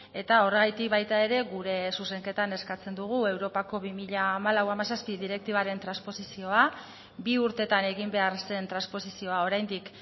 eta horregatik baita ere gure zuzenketan eskatzen dugu europako bi mila hamalau hamazazpi direktibaren transposizioa bi urtetan egin behar zen transposizioa oraindik